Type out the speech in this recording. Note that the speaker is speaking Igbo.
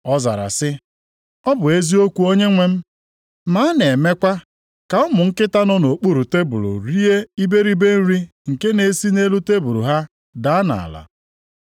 Ọ zara sị, “Ọ bụ eziokwu Onyenwe m. Ma a na-ekwekwa ka ụmụ nkịta nọ nʼokpuru tebul rie iberibe nri nke na-esi nʼelu tebul ha daa nʼala.”